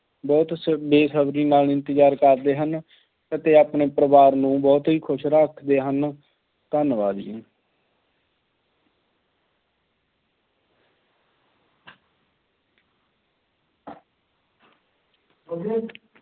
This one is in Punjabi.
ਬਹੁਤ ਬੇਸਬਰੀ ਨਾਲ ਇੰਤਜ਼ਾਰ ਕਰਦੇ ਹਨ ਅਤੇ ਆਪਣੇ ਪਰਿਵਾਰ ਨੂੰ ਬਹੁਤ ਖੁਸ਼ ਰੱਖਦੇ ਹਨ। ਧੰਨਵਾਦ ਜੀ।